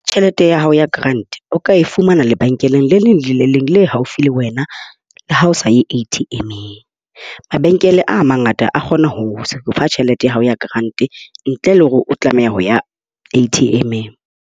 Tjhelete ya hao ya grant o ka e fumana lebenkeleng le leng le le leng le haufi le wena, ha o sa e ATM-ng. Mabenkele a mangata a kgona ho fa tjhelete ya hao ya grant ntle le hore o tlameha ho ya ATM-ng.